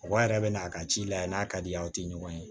Mɔgɔ yɛrɛ bɛ n'a ka ci lajɛ n'a ka di ye aw tɛ ɲɔgɔn ye